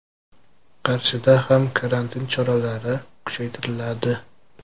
Qarshida ham karantin choralari kuchaytiriladi.